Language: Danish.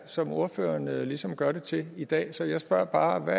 som ordføreren ligesom gør det til i dag så jeg spørger bare hvad